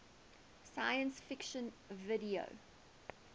science fiction video